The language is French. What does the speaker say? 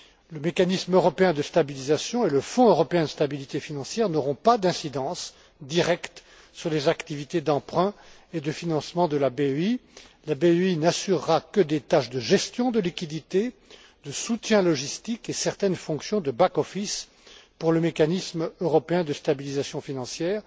Le mécanisme européen de stabilisation et le Fonds européen de stabilité financière n'auront pas d'incidences directes sur les activités d'emprunt et de financement de la BEI. La BEI n'assurera que des tâches de gestion de liquidités, de soutien logistique et certaines fonctions de back office pour le mécanisme européen de stabilisation financière.